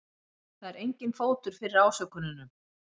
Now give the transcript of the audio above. Það er enginn fótur fyrir ásökununum